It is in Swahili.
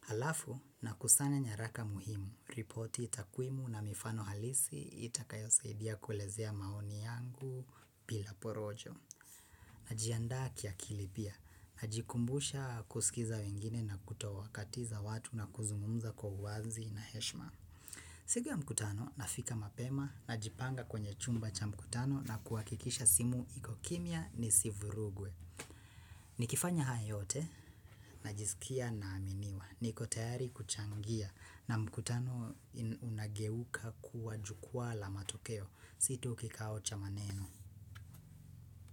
Halafu, na kusanya nyaraka muhimu, ripoti takwimu na mifano halisi itakayosaidia kuelezea maoni yangu bila porojo. Najianda kiakili pia, najikumbusha kusikiza wengine na kutowakatiza watu na kuzungumumza kwa uanzi na heshma. Sigu ya mkutano, nafika mapema, najipanga kwenye chumba cha mkutano na kuwakikisha simu iko kimia nisivurugwe. Ni kifanya haya yote? Najisikia naaminiwa, niko teyari kuchangia, na mkutano unageuka kuwa jukwa la matokeo, situ kikao cha maneno.